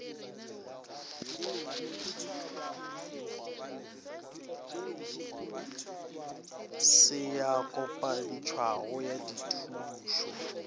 se ya kopantšhwago ya dithušo